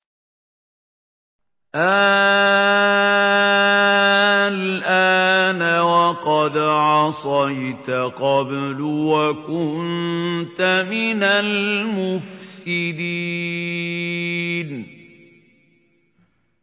آلْآنَ وَقَدْ عَصَيْتَ قَبْلُ وَكُنتَ مِنَ الْمُفْسِدِينَ